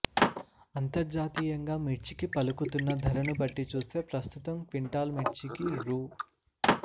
అంతర్జాతీయంగా మిర్చికి పలుకుతున్న ధరను బట్టి చూస్తే ప్రస్తుతం క్వింటాల్ మిర్చికి రూ